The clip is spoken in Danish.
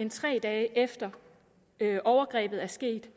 end tre dage efter at overgrebet er sket